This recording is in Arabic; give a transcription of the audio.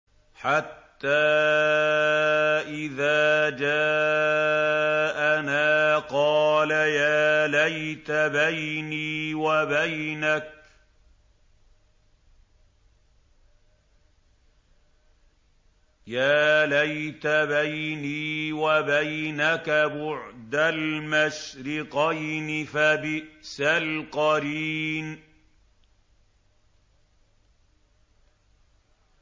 حَتَّىٰ إِذَا جَاءَنَا قَالَ يَا لَيْتَ بَيْنِي وَبَيْنَكَ بُعْدَ الْمَشْرِقَيْنِ فَبِئْسَ الْقَرِينُ